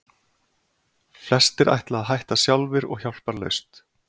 Flestir ætla að hætta sjálfir og hjálparlaust.